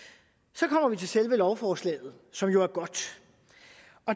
så kommer vi til selve lovforslaget som jo er godt